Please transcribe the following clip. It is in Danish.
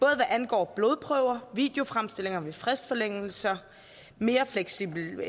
hvad angår blodprøver videofremstillinger ved fristforlængelser mere fleksibilitet